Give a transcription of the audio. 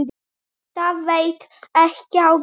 Þetta veit ekki á gott.